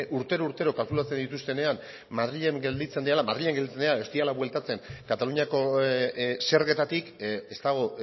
urtero urtero kalkulatzen dituztenean madrilen gelditzen direla madrilen gelditzen direla edo ez direla bueltatzen kataluniako zergetatik ez dago